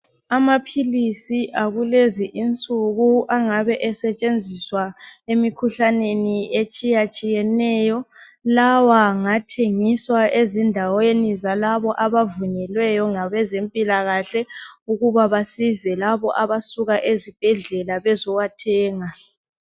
Amaphilisi akulezi insuku angabe esetshenziswa, emikhuhlaneni etshiyatshiyeneyo. Lawa ngathengiswa ezindaweni zalabo abavunyelweyo, ngabezempilakahle. Ukuba basize labo abasuka ezibhedlela. Bezewathenga.